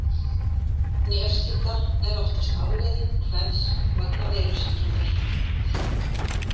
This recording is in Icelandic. Nefstífla er oftast afleiðing kvefs vegna veirusýkingar.